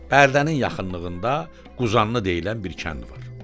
Bərdənin yaxınlığında Quzanlı deyilən bir kənd var.